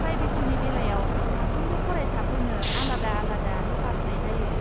प्रायभेसिनि बेलायाव, साफ्रोमबो फरायसाफोरनो आलादा आलादा ल'कार होनाय जायो।